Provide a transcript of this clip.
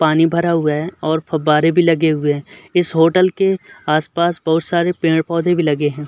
पानी भरा हुआ है और फवाररे भी लगे हुए हैं। इस होटल के आस-पास बहोत सारे पेड़-पौधे भी लगे हैं।